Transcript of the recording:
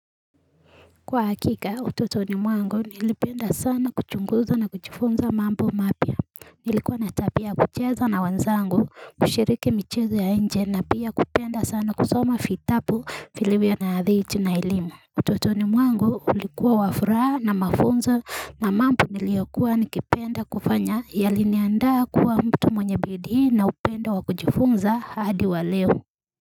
Kwa hakika ututoni mwangu nilipenda sana kuchunguza na kuchifunza mambo mapya Nilikuwa na tapia ya kucheza na wenzangu kushiriki michezo ya nje na pia kupenda sana kusoma fitapu vilivyo na hadithi na elimu ututoni mwangu ulikuwa wa furaha na mafunzo na mambo niliyokuwa nikipenda kufanya yaliniandaa kuwa mtu mwenye bidii na upendo wa kuchifunza hadi wa leo.